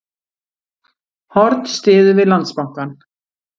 Horn styður við Landsbankann